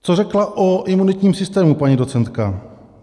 Co řekla o imunitním systému paní docentka.